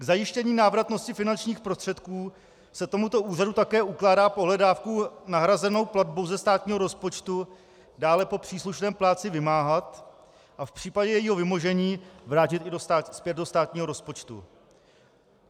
K zajištění návratnosti finančních prostředků se tomuto úřadu také ukládá pohledávku nahrazenou platbou ze státního rozpočtu dále po příslušném plátci vymáhat a v případě jejího vymožení vrátit ji zpět do státního rozpočtu.